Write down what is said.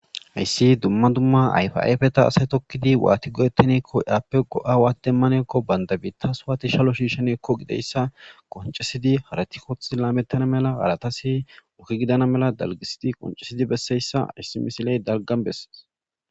Haysi dumma dumma ayfa afeta asay tokid wati goetane afe go'a wati deane giko bantam bita wati shallo shishanne gikko gizaysa qoncisidi harati othi lametana mala haratasi oge gidana mala dalgisidi qoncisidi beseyaysa haysi misiley dalga besese